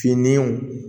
Finiw